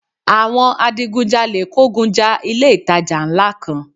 Àwọn adigun jalè kógun ja ilé ìtajà ńlá kan